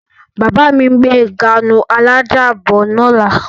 Bàbá mi ń gbé gáànù alájà bọ̀ ní ọ̀la.